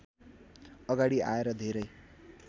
अगाडि आएर धेरै